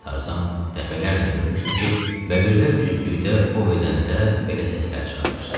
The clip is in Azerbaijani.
Tarzan dəfələrlə görmüşdü ki, bəbirlər cütlükdə o vedəndə belə səslər çıxarır.